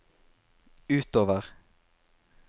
utover